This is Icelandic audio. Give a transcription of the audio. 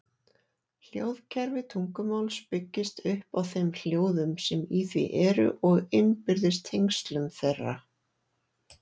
Hljóðkerfi tungumáls byggist upp á þeim hljóðum sem í því eru og innbyrðis tengslum þeirra.